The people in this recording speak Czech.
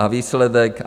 A výsledek?